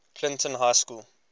clinton high school